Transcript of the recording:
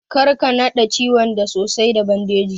Karka naɗe ciwon da sosai da bandeji.